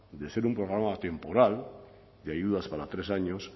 de ser un programa temporal de ayudas para tres años